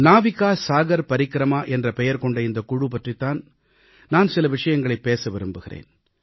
நாவிகா சாகர் பரிக்கிரமா என்ற பெயர் கொண்ட இந்தக் குழு பற்றித் தான் நான் சில விஷயங்களைப் பேச விரும்புகிறேன்